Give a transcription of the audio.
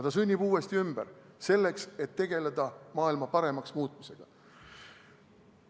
Ta sünnib uuesti ümber, selleks et tegeleda maailma paremaks muutmisega.